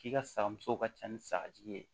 K'i ka saga musow ka ca ni sagajigi ye